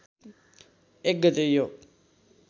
१ गते यो